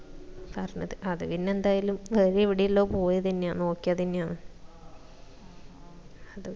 പറഞ്ഞത് അത് പിന്നാ എന്തായാലും ഇവിടുള്ളത് പോയതെന്നെയാണ് നോക്കിയതെന്നെയാന്ന്‌ അത്